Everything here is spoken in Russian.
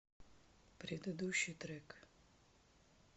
предыдущий трек